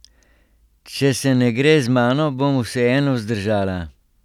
Če se ne gre z mano, bom vseeno zdržala.